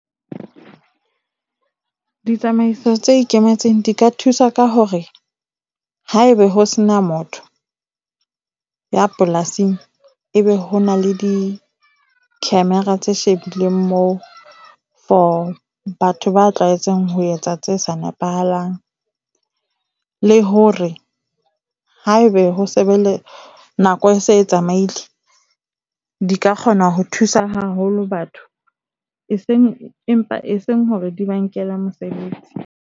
Ditsamaiso tse ikemetseng di ka thusa ka hore haebe ho se na motho ya polasing, ebe ho na le di-camera tse shebileng moo for batho ba tlwaetseng ho etsa tse sa nepahalang. Le hore haebe ho sebeletsa nako e se e tsamaile di ka kgona ho thusa haholo batho e seng empa eseng hore di ba nkela mosebetsi.